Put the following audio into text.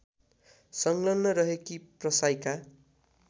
संलग्न रहेकी प्रसाईका